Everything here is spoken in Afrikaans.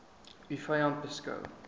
u vyand beskou